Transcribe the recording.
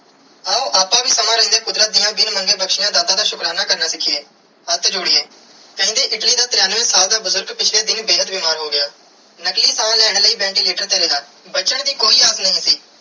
ਆਓ ਅੱਪਾ ਵੀ ਸਮੇ ਰੇਂਦੇ ਕੁਦਰਤ ਦੀਆ ਬਿਨ ਮੰਗੇ ਬਖਸ਼ਿਆ ਦਾਤਾ ਦਾ ਸ਼ੁਕਰਾਨਾ ਕਰਨਾ ਪਿੱਛੇ ਹੱਥ ਜੋੜੀਏ ਕਹੇ ਜੀ ਇਟਲੀ ਦਾ ਤ੍ਰਿਣਵੇ ਸਾਲ ਦਾ ਬੁਜ਼ਰਗ ਪਿਛਲੇ ਦਿਨ ਬੇਹੱਦ ਬਿਮਾਰ ਹੋ ਗਿਆ ਨਕਲੀ ਸਾਹ ਲੈਣ ਲਾਇ ventilator ਤੇ ਰਿਆ ਬਚਣ ਦੀ ਕੋਈ ਆਗਿਆ ਨਾਈ ਸੀ.